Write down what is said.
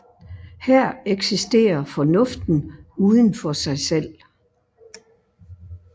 Her eksisterer Fornuften uden for sig selv